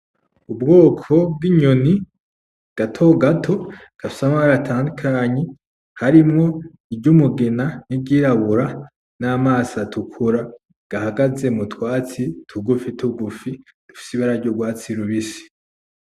Ubwoko bw'inyoni gatogato ,gafise amabara atandukanye harimwo iry'umugina ,iryirabura, n'amaso atukura. Gahagaze m'utwatsi tugufi tugufi dusa n'urwatsi rubisi.